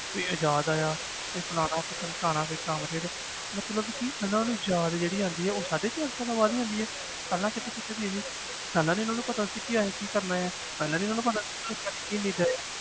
ਕੋਈ ਫਲਾਣਾ ਕੋਈ ਢਿਮਕਾਣਾ ਮਤਲਬ ਕਿ ਇਹਨਾਂ ਨੂੰ ਯਾਦ ਜਿਹੜੀ ਆਉਂਦੀ ਹੈ ਉਹ ਸਾਢੇ ਚਾਰ ਸਾਲਾਂ ਬਾਅਦ ਹੀ ਆਉਂਦੀ ਹੈ ਪਹਿਲਾਂ ਕਿੱਥੇ ਸੁੱਤੇ ਪਏ ਸੀ ਪਹਿਲਾਂ ਨੀ ਇਹਨਾਂ ਨੂੰ ਪਤਾ ਸੀ ਕਿ ਅਸੀਂ ਕੀ ਕਰਨਾ ਆਂ ਪਹਿਲਾਂ ਨੀ ਇਹਨਾਂ ਨੂੰ ਪਤਾ